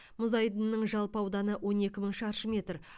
мұз айдынының жалпы ауданы он екі мың шаршы метр